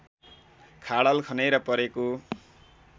खाडल खनेर परेको